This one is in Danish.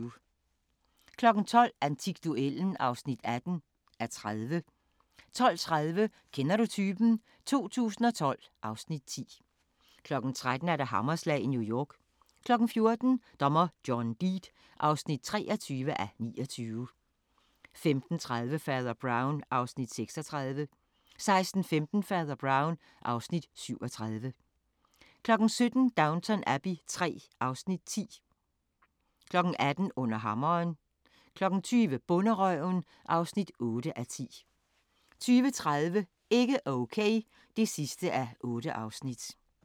12:00: Antikduellen (18:30) 12:30: Kender du typen? 2012 (Afs. 10) 13:00: Hammerslag i New York 14:00: Dommer John Deed (23:29) 15:30: Fader Brown (Afs. 36) 16:15: Fader Brown (Afs. 37) 17:00: Downton Abbey III (Afs. 10) 18:00: Under hammeren 20:00: Bonderøven (8:10) 20:30: Ikke Okay (8:8)